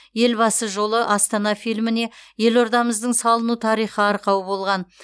елбасы жолы астана фильміне елордамыздың салыну тарихы арқау болған